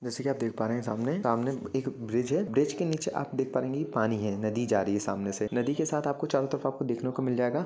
जैसे की आप देख पा रहे है सामने एक ब्रिज है ब्रिज के नीचे आप देख पा रहे होंगे पानी है नदी जा रही है सामने से नदी के साथ आपको चारो तरफ आपको मिल जायेगा।